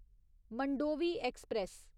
Mandovi express